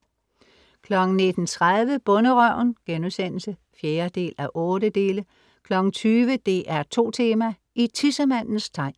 19:30 Bonderøven* (4:8) 20:00 DR2 Tema: I tissemandens tegn.